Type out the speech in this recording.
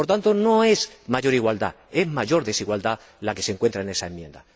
Por tanto, no es mayor igualdad, es mayor desigualdad la que se encuentra en esa enmienda.